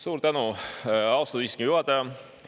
Suur tänu, austatud istungi juhataja!